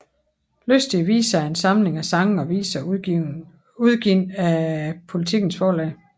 Lystige Viser er en samling af sange og viser udgivet af Politikens Forlag